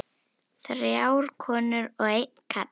Þrjár konur og einn karl.